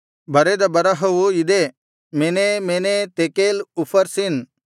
ಬರೆದ ಬರಹವು ಇದೇ ಮೆನೇ ಮೆನೇ ತೆಕೇಲ್ ಉಫರ್ಸಿನ್